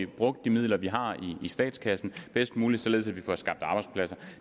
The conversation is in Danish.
brugt de midler vi har i statskassen bedst muligt således at vi får skabt de arbejdspladser